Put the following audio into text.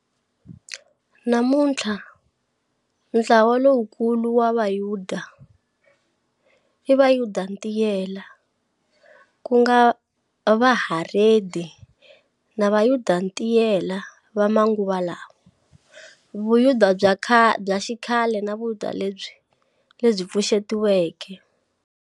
Namunthla ntlawa lowukulu wa vuyuda Vuyuda-ntiyela, kunga Vaharedi na Vayuda-ntiyela va manguva lawa, Vuyuda bya xikhale na vuyuda lebyi pfuxetiweke.